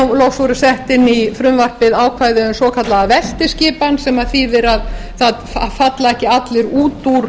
og loks voru sett inn í frumvarpið ákvæði um svokallaða veltiskipan sem þýðir að það falla ekki allir út úr